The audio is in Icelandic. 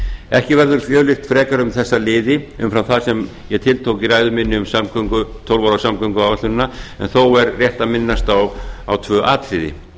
ekki verður fjölyrt frekar um þessa liði umfram það sem ég tiltók í ræðu minni um tólf ára samgönguáætlunina en þó er rétt að minnast á tvö atriði